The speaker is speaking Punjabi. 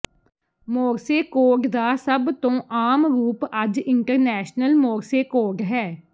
ਮੋਰਸੇ ਕੋਡ ਦਾ ਸਭ ਤੋਂ ਆਮ ਰੂਪ ਅੱਜ ਇੰਟਰਨੈਸ਼ਨਲ ਮੋਰਸੇ ਕੋਡ ਹੈ